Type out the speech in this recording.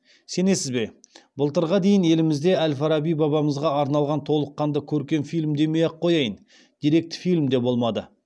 сенесіз бе былтырға дейін елімізде әл фараби бабамызға арналған толыққанды көркем фильм демей ақ қояйын деректі фильм де болмады